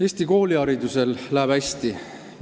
Eesti kooliharidusel läheb hästi.